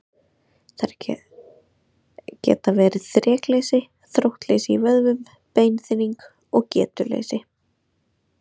Þær geta verið þrekleysi, þróttleysi í vöðvum, beinþynning og getuleysi.